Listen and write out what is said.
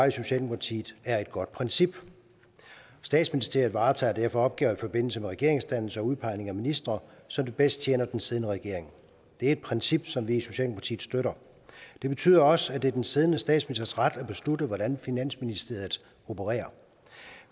i socialdemokratiet er et godt princip statsministeriet varetager derfor opgaver i forbindelse med regeringsdannelse og udpegning af ministre som det bedst tjener den siddende regering det er et princip som vi i socialdemokratiet støtter det betyder også at det er den siddende statsministers ret at beslutte hvordan finansministeriet opererer